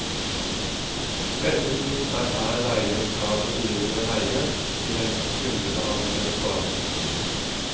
Ventetiden er her regnet fra det begynner å ringe til en kundebehandler svarer.